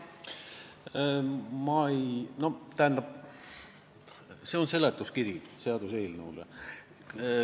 Tähendab, tegu on seaduseelnõu seletuskirjaga.